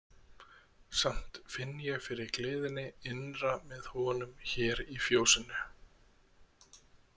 Samt finn ég fyrir gleðinni innra með honum hér í fjósinu.